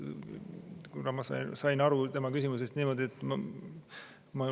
Ma sain tema küsimusest aru niimoodi, et …